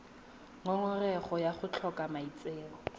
ngongorego ya go tlhoka maitseo